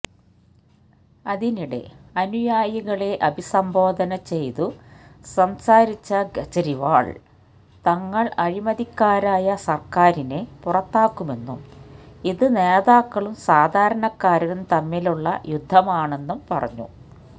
അതിനിടെ അനുയായികളെ അഭിസംബോധന ചെയ്തുസംസാരിച്ച കെജ്രിവാള് തങ്ങള് അഴിമതിക്കാരായ സര്ക്കാരിനെ പുറത്താക്കുമെന്നും ഇത് നേതാക്കളും സാധാരണക്കാരനും തമ്മിലുള്ള യുദ്ധമാണെന്നും പറഞ്ഞു